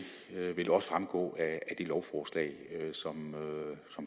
vil også fremgå af det lovforslag som